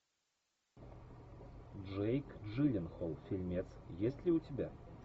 джейк джилленхол фильмец есть ли у тебя